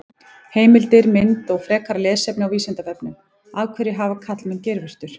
Heimildir, mynd og frekara lesefni á Vísindavefnum: Af hverju hafa karlmenn geirvörtur?